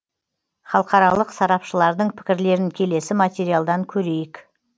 халықаралық сарапшылардың пікірлерін келесі материалдан көрейік